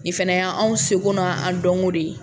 Nin fana ye anw seko n'a an dɔnko de ye